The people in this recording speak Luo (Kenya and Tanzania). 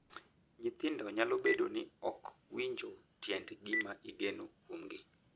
Nyithindo nyalo bedo ni ok winjo tiend gima igeno kuomgi, .